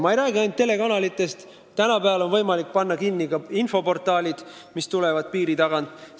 Ma ei räägi ainult telekanalitest, tänapäeval on võimalik panna kinni ka infoportaalid, mis piiri tagant tulevad.